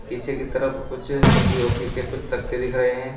पीछे की तरफ कुछ पी_ओ_पी के कुछ तकते दिख रहे हैं।